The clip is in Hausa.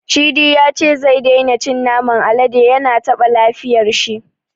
Cidi ya ce zai daina cin naman alade, ya na taɓa lafiyar shi.